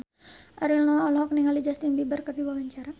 Ariel Noah olohok ningali Justin Beiber keur diwawancara